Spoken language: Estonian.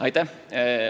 Aitäh!